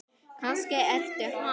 Kannski ertu hann?